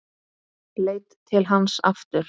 Leit til hans aftur.